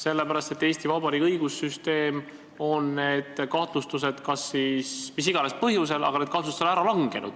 Eesti Vabariigi õigussüsteem on selline, et mis iganes põhjusel on kahtlustused üles kerkinud, aga kui need on ära langenud, siis inimene pole süüdi.